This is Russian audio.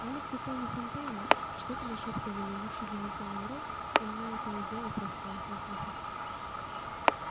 алекс и тони фонтейны что-то нашёптывали в уши димити манро и она то и дело прыскала со смеху